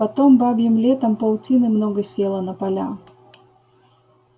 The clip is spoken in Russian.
потом бабьим летом паутины много село на поля